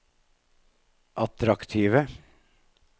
attraktive